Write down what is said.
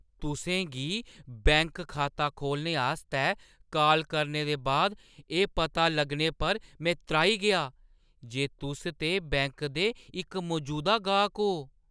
तुसें गी बैंक खाता खोह्‌लने आस्तै काल करने दे बाद एह् पता लग्गने पर में त्राही गेआ जे तुस ते बैंक दे इक मजूदा गाह्क ओ।